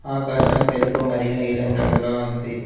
ఆకాశం తెలుపు మరియు నీలం రంగులో ఉంది.